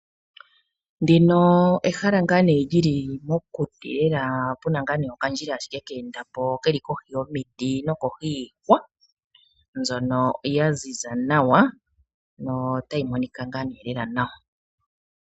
Ndino ehala ngaa nee lyili mokuti lela ano puna okandjila keendapo keli kohi yomiti niihwa yaziza nawa notayi monikwa ngaa nee lela nawa.